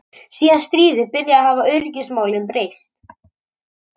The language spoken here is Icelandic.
Mest er þetta áberandi í köldu og stilltu veðri.